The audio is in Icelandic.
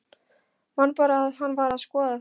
Man bara að hann var að skoða þá.